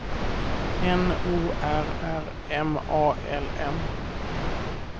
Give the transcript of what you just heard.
N O R R M A L M